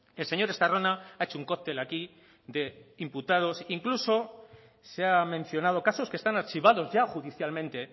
el señor estarrona ha hecho un cóctel aquí de imputados incluso se ha mencionado casos que están archivados ya judicialmente